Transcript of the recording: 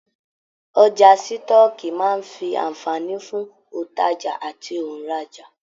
Ọjà sitọ̀ọ́kíi máa n fí anfààní fún ontaja àti onraja.